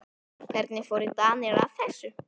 Hvernig fóru Danir að þessu?